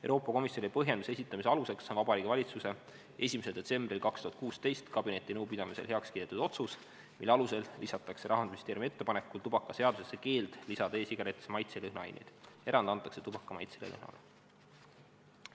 Euroopa Komisjoni põhjenduse esitamise aluseks on Vabariigi Valitsuse 1. detsembril 2016 kabinetinõupidamisel heakskiidetud otsus, mille alusel lisatakse Rahandusministeeriumi ettepanekul tubakaseadusesse keeld lisada e-sigarettidesse maitse- ja lõhnaaineid, erand antakse tubaka maitsele ja lõhnale.